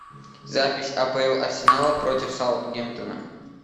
запись апл арсенала против саутгемптона